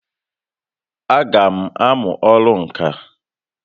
A gam amụ ọrụ ǹkà